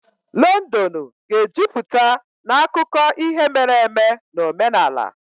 Londonu ga-ejupụta na akụkọ ihe mere eme na omenala.